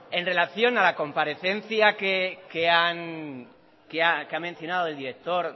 en relación a la comparecencia que ha mencionado el director